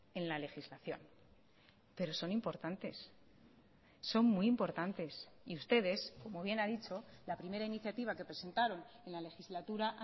en la legislación pero son importantes son muy importantes y ustedes como bien ha dicho la primera iniciativa que presentaron en la legislatura